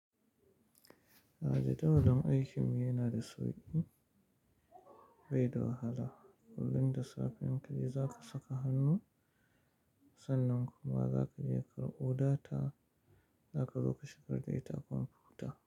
A da jawalin aikin mu yana da sauƙi bai da wahala. Kullum da safe ka yi za ka saka hannu, sannan kuma za ka je ka karɓo data za ka zo ka shigar da ita kwamfuta.